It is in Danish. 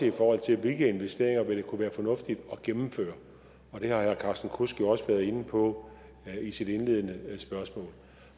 i forhold til hvilke investeringer det vil kunne være fornuftigt at gennemføre og det har herre carsten kudsk jo også været inde på i sit indledende spørgsmål